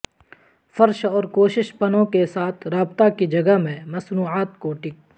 فرش اور کوشش پنوں کے ساتھ رابطہ کی جگہ میں مصنوعات کو ٹک